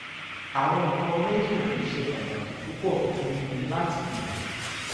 àwọn nǹkan méjì wọ̀nyí ṣe pàtàkì púpọ̀ fún mi láti mọ̀